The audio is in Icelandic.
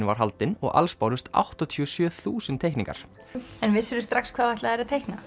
var haldin og alls bárust áttatíu og sjö þúsund teikningar en vissirðu strax hvað þú ætlaðir að teikna